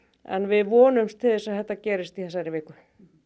en við vonumst til þess að þetta gerist í þessari viku